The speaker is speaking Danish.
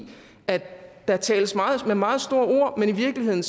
at der tales med meget store ord men i virkeligheden